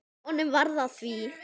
Honum varð að því.